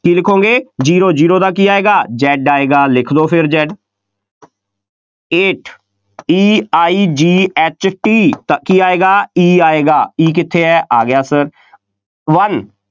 ਕੀ ਲਿਖੋਗੇ zero zero ਦਾ ਕੀ ਆਏਗਾ Z ਆਏਗਾ, ਲਿਖ ਦਿਓ ਫੇਰ Z Eight E I G H T ਤਾਂ ਕੀ ਆਏਗਾ, E ਆਏਗਾ, E ਕਿੱਥੇ ਹੈ, ਆ ਗਿਆ ਫੇਰ one